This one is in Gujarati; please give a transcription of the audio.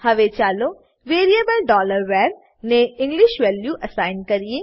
હવે ચાલો વેરીએબલ var ને ઇંગ્લિશ વેલ્યુ એસાઈન કરીએ